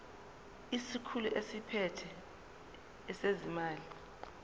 isikhulu esiphethe ezezimali